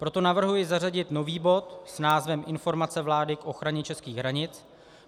Proto navrhuji zařadit nový bod s názvem Informace vlády k ochraně českých hranic.